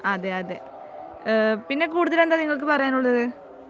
അതെ അതെ ആഹ് പിന്നെ കൂടുതൽ എന്താ നിങ്ങൾക്ക് പറയാൻ ഉള്ളത്